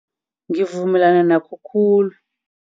Ngivumelana nakho khulu.